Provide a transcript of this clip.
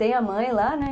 Tem a mãe lá, né?